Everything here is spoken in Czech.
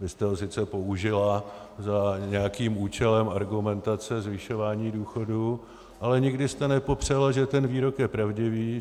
Vy jste ho sice použila za nějakým účelem argumentace zvyšování důchodů, ale nikdy jste nepopřela, že ten výrok je pravdivý.